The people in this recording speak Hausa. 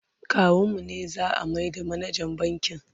kawun mu ne za'a maida manajan bankin